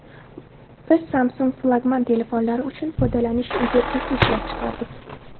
Biz Samsung flagman telefonlari uchun foydalanish interfeysi ishlab chiqardik.